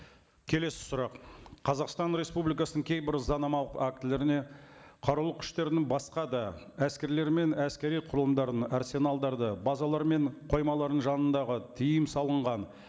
келесі сұрақ қазақстан республикасының кейбір заңнамалық актілеріне қарулы күштердің басқа да әскерлер мен әскери құрылымдарын арсеналдарды базалар мен қоймаларының жанындағы тыйым салынған